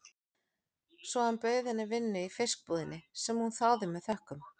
Svo hann bauð henni vinnu í fiskbúðinni, sem hún þáði með þökkum.